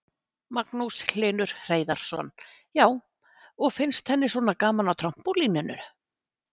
Magnús Hlynur Hreiðarsson: Já, og finnst henni svona gaman á trampólíninu?